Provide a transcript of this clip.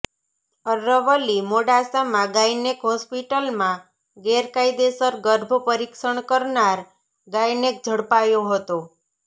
અરવલ્લીઃ મોડાસામાં ગાયનેક હોસ્પિટલમાં ગેરકાયદેસર ગર્ભ પરીક્ષણ કરનાર ગાયનેક ઝડપાયો હતો